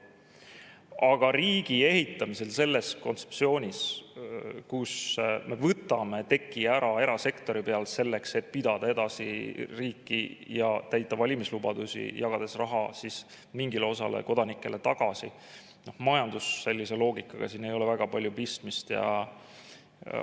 Aga riigi ehitamisel sellest kontseptsioonist, mille kohaselt me võtame teki ära erasektori pealt selleks, et pidada edasi riiki ja täita valimislubadusi, jagades raha mingile osale kodanikest tagasi, majandusloogikaga väga palju pistmist ei ole.